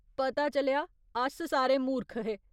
पता चलेआ, अस सारे मूर्ख हे ।